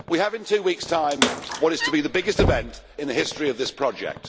We have, in two weeks' time, what is to be the biggest event in the history of this project.